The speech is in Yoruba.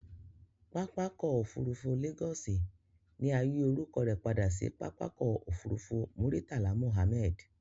Pápákọ̀ òfurufú Lagos ni a yi orúkọ rẹ padà si pápákọ̀ òfurufú Muritala Muhammed